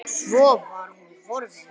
Svo var hún horfin.